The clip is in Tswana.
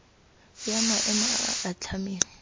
ya maemo a a atlhameng